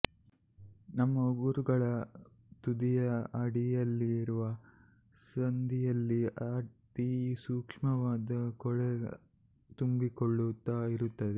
ನಮ್ಮ ಉಗುರುಗಳ ತುದಿಯ ಅಡಿಯಲ್ಲಿರುವ ಸಂದಿಯಲ್ಲಿ ಅತಿ ಸೂಕ್ಷ್ಮವಾದ ಕೊಳೆ ತುಂಬಿಕೊಳ್ಳುತ್ತಾ ಇರುತ್ತದೆ